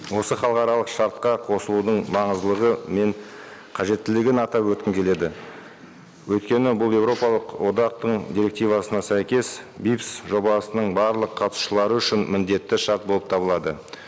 осы халықаралық шартқа қосылудың маңыздылығы мен қажеттілігін атап өткім келеді өйткені бұл еуропалық одақтың директивасына сәйкес жобасының барлық қатысушылары үшін міндетті шарт болып табылады